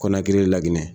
Kɔnɔ kelen lakinɛ